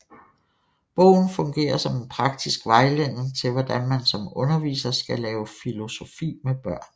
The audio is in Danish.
Bogen fungerer som en praktisk vejledning til hvordan man som underviser skal lave filosofi med børn